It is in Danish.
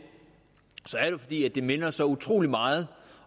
er ngoet der minder så utrolig meget